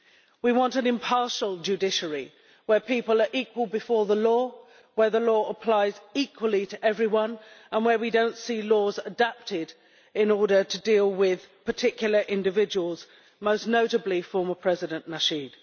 We want an impartial judiciary, where people are equal before the law, where the law applies equally to everyone and where we do not see laws adapted to deal with particular individuals, most notably former President Nasheed.